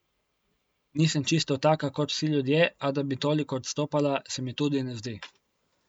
Nisem čisto taka kot vsi ljudje, a da bi toliko odstopala, se mi tudi ne zdi.